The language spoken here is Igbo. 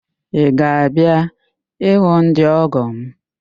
Ị ga-abịa ịhụ ndị ọ́gọ̀ m?